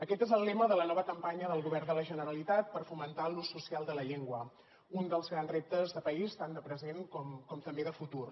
aquest és el lema de la nova campanya del govern de la generalitat per fomentar l’ús social de la llengua un dels grans reptes de país tant de present com també de futur